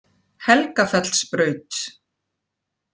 Helgafellsbraut